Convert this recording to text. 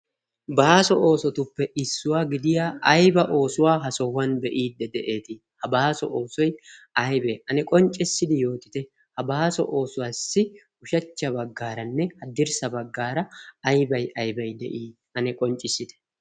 baaso oosotuppe issuwaa gidiya ayba oosuwaa ha sohuwan be''iidde de'eetii ha baaso oosoi aybee ane qonccissidi yootite ha baaso oosuwaassi ushachcha baggaaranne haddirssa baggaara aybay aybay de'ii ane qonccissite